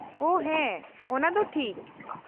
-ᱳᱺ ᱦᱮᱸ, ᱚᱱᱟ ᱫᱚ ᱴᱷᱤᱠ ᱾